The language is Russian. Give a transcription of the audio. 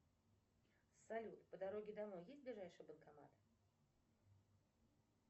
салют по дороге домой есть ближайший банкомат